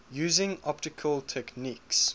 using optical techniques